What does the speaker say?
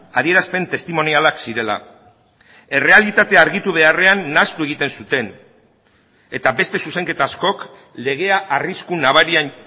adierazpen testimonialak zirela errealitatea argitu beharrean nahastu egiten zuten eta beste zuzenketa askok legea arrisku nabarian